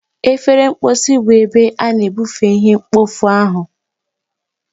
Efere mposi bụ ebe ị na-ebufe ihe mkpofu ahu.